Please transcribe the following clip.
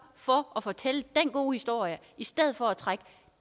for at fortælle den gode historie i stedet for at trække